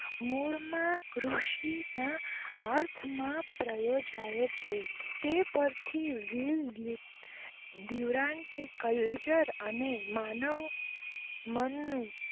દ્યૂદ્યૂ